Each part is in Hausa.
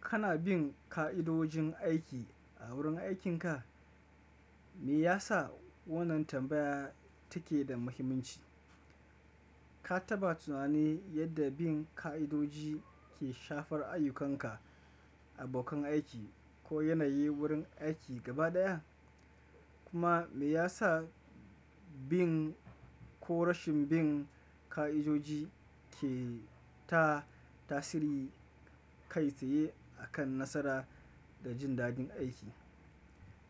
Kana bin ka'idojin aiki a wurin aikinka? Meyasa wannan tambaya take da muhimmanci? Ka taɓa tunani yadda bin ka'idoji ke shafar ayyukanka, abokan aiki ko yanayi wurin aiki gaba ɗaya? Kuma meyasa bin ko rashin bin ka'idoji keda tasiri kai tsaye a kan nasara da jindadin aiki?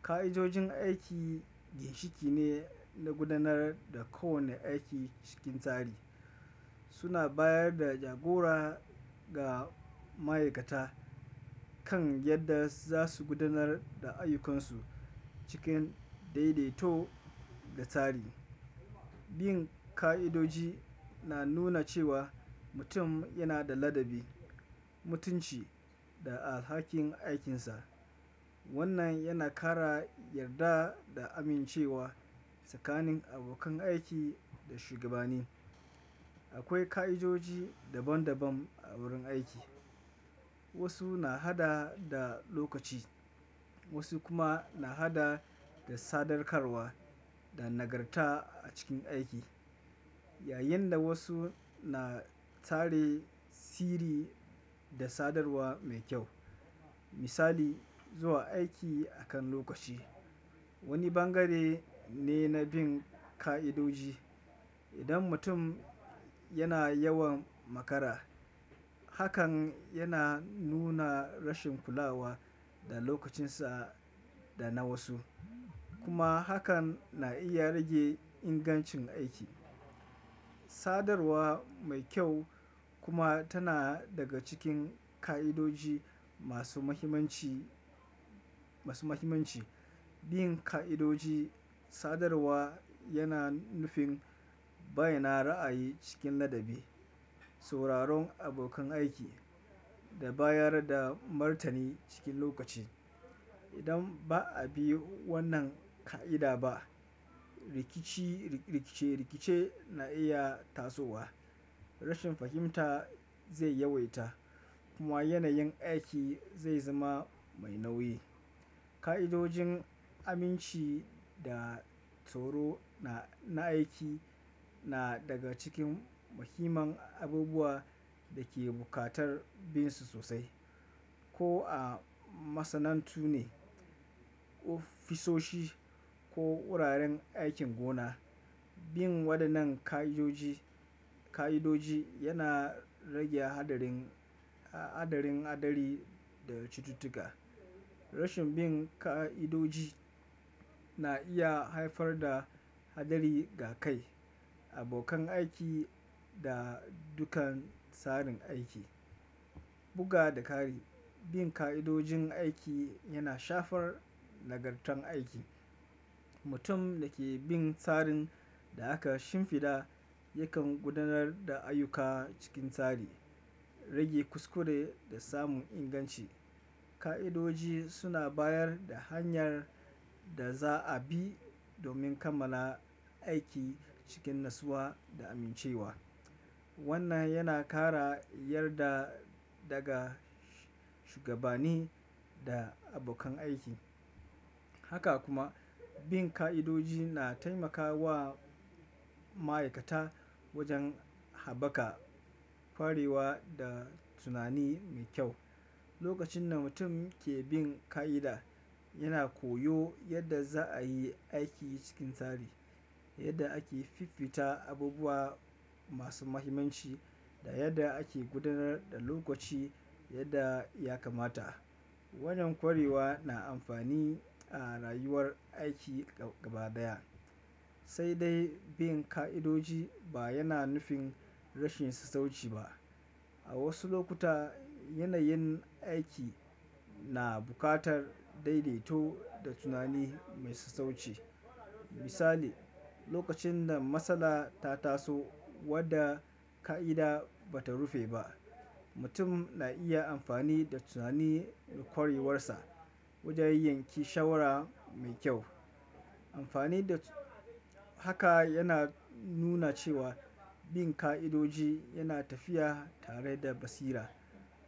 Ka'idojin aiki ginshiki ne na gudanar da kowane aiki cikin tsari. Suna bayar da jagora ga ma'aikata kan yadda za su gudanar da ayyukansu cikin daidaito da tsari. Bin ka'idoji na nuna cewa mutum yana da ladabi, mutunci da alhakin aikinsa. Wannan yana ƙara yarda da amincewa tsakanin abokan aiki da shugabanni. Akwai ka'idoji daban daban a wurin aiki. Wasu na haɗa da lokaci, wasu kuma na haɗa da sadaukarwa da nagarta a cikin aiki, yayinda wasu na tsari, sihiri da sadarwa mai kyau. Misali, zuwa aiki akan lokaci, wani bangare ne na bin ka'idoji. Idan mutum yana yawan makara, hakan yana nuna rashin kulawa da lokacinsa dana wasu, kuma hakan na iya rage ingancin aiki. Sadarwa mai kyau kuma tana daga cikin ka'idoji masu mahimmanci, masu mahimmanci. Bin ka'idoji sadarwa yana nufin bayyana ra'ayi cikin ladabi, sauraron abokan aiki da bayarda martani cikin lokaci. Idan ba a bi wannan ka'ida ba, rikici, rikice rikice na iya tasowa. Rashin fahimta zai yawaita kuma yanayin aiki zai zama mai nauyi. Ka'idojin aminci da tsaro na, na aiki na daga cikin muhimman abubuwa dake buƙatar binsu sosai. Ko a masana'antu ne, ofisoshi ko wuraren aikin gona, bin waɗannan ka'idoji, ka'idoji yana rage hadarin, haɗarin hadari da cututtuka. Rashin bin ka'idoji na iya haifar da hadari ga kai, abokan aiki da dukkan tsarin aiki. Buga da kari, bin ka'idojin aiki yana shafar nagartar aiki. Mutum dake bin tsarin da aka shimfiɗa yakan gudanar da ayyuka cikin tsari, rage kuskure da samun inganci. Ka'idoji suna bayarda hanyar da za a bi domin kammala aiki cikin nassuwa da amincewa. Wannan yana ƙara yarda daga shugabanni da abokan aiki. Haka kuma bin ka'idoji na taimakawa ma'aikata wajen haɓaka ƙwarewa da tunani mai kyau. Lokacin da mutum ke bin ka'ida, yana koyo yadda za ayi aiki cikin tsari, yadda ake fiffita abubuwa masu mahimmanci da yadda ake gudanar da lokaci yadda ya kamata. Wannan ƙwarewa na amfani a rayuwar aiki gaba ɗaya. Sai dai bin ka'idoji ba yana nufin rashin sassauci ba. A wasu lokuta, yanayin aiki na buƙatar daidaito da tunani mai sassauci. Misali, lokacin da matsala ta taso wadda ka'ida bata rufe ba, mutum na iya amfani da tunanin ƙwarewarsa wajen yanke shawara mai kyau. Amfani da haka yana nuna cewa bin ka'idoji yana tafiya tare da basira.